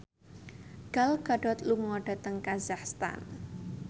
Gal Gadot lunga dhateng kazakhstan